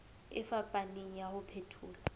e fapaneng ya ho phethola